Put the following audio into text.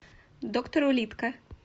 доктор улитка